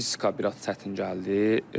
Yəni fizika biraz çətin gəldi.